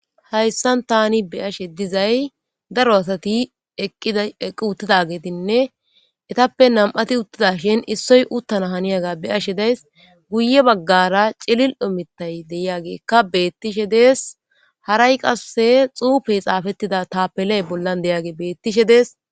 Hayssan tani be'ashe dizay daro asati eqqi uttidagetinne etappe nami'ati uttida shin issoy uttana haniyaga be'ashe days. Guye baggara cililo mittay deyagekka beettishe dees. Haray qasse xuufey xaafettida tapeley bollan deyaage beettishe dees.